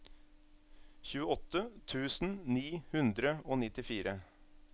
tjueåtte tusen ni hundre og nittifire